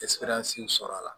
sɔrɔ a la